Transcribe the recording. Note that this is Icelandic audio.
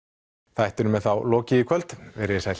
þættinum er þá lokið í kvöld veriði sæl